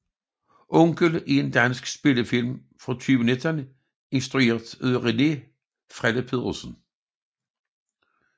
Onkel er en dansk spillefilm fra 2019 instrueret af René Frelle Petersen